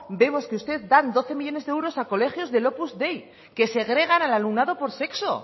vemos que ustedes dan doce millónes de euros a colegios del opus dei que segregan al alumnado por sexo